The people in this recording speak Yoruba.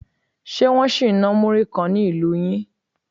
Ṣe Wọ́n sì ń ná múrí kan ni ilu yín?